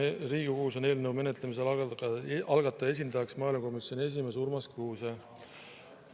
Riigikogus on eelnõu menetlemisel algataja esindajaks maaelukomisjoni esimees Urmas Kruuse.